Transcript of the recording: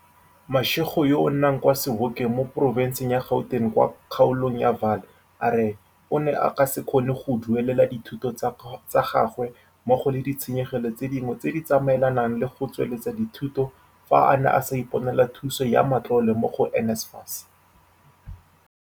Mashego yo a nnang kwa Sebokeng mo porofenseng ya Gauteng kwa kgaolong ya Vaal a re o ne a ka se kgone go duelela dithuto tsa gagwe mmogo le di tshenyegelo tse dingwe tse di tsamaelanang le go tsweletsa dithuto fa a ne a sa iponela thuso ya matlole mo go NSFAS.